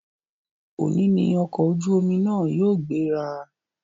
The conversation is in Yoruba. Òní ní ọ̀kọ̀ ojú omi náà yóò gbéra